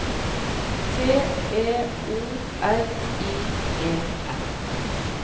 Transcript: T E O R I E N